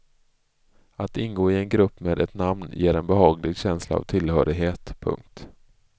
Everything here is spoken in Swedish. Att ingå i en grupp med ett namn ger en behaglig känsla av tillhörighet. punkt